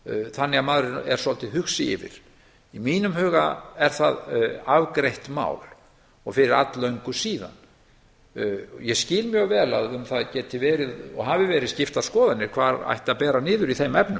þannig að maður er svolítið hugsi yfir í mínum huga er það afgreitt mál og fyrir að löngu síðan ég skil mjög vel að um það geti verið og hafi verið skiptar skoðanir hvar ætti að bera niður í þeim efnum